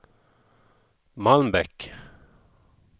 Malmbäck